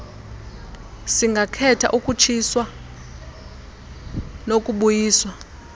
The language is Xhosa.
singakhetha ukutshiswa nokubuyiswa